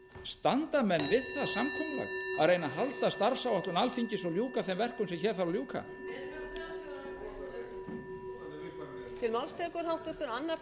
standa menn við það samkomulag að reyna að halda starfsáætlun alþingis og ljúka þeim verkum sem hér þarf að ljúka